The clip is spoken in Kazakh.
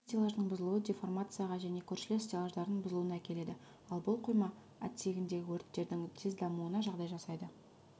бір стеллаждың бұзылуы деформацияға және көршілес стеллаждардың бұзылуына әкеледі ал бұл қойма отсегіндегі өрттердің тез дамуына жағдай жасайды